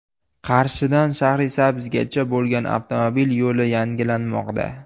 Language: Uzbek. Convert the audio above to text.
Qarshidan Shahrisabzgacha bo‘lgan avtomobil yo‘li yangilanmoqda.